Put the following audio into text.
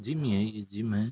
Gym यही gym है।